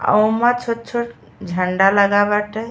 ओमे छोट-छोट झंडा लगा बाटे।